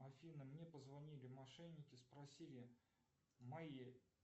афина мне позвонили мошенники спросили мои